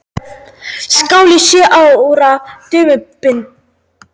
Skál í sjö ára dumbrauðu.